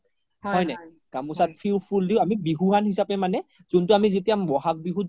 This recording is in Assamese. গামোচাত ফোল দিও আমি বিহুৱান হিচাপে মানে যোনতো আমি যেতিয়া বহাগ বিহুত যেতিয়া